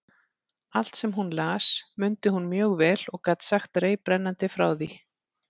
Allt, sem hún las, mundi hún mjög vel og gat sagt reiprennandi frá því.